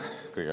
Suur tänu!